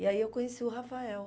E aí eu conheci o Rafael.